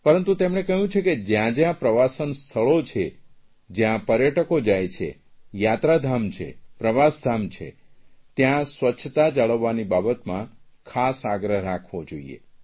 પરંતુ તેમણે કહ્યું છે કે જયાં જયાં પ્રવાસન સ્થળો છે જયાં પર્યટકો જાય છે યાત્રાધામ જાય છે પ્રવાસધાન છે ત્યાં સ્વચ્છતા જાળવવાની બાબતમાં ખાસ આગ્રહ રાખવો જોઇએ